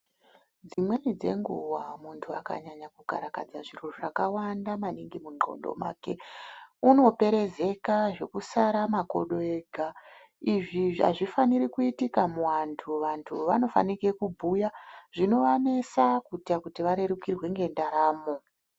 Dzimweni dzenguva muntu akanyanya kukarakadza zviro zvakawanda maningi mundxondo make. Unoperezeka zvokusara makodo ega, izvi hazvifaniri kuitika muvantu vantu vanofanike kubhuya zvinovanesa kuita kuti varerukirwe ngendaramo.